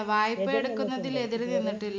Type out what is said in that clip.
വായ്പ എടുക്കുന്നതിന് എതിര് നിന്നട്ടി~